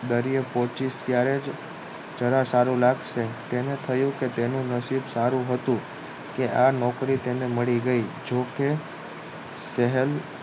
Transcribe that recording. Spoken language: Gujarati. દરિયે પોચીસ ત્યારે જરા સારું લાગશે તેને કહ્યું કે તેનું નસીબ સારું હતું કે આ નોકરી તેને મળી ગય જોકે સહેન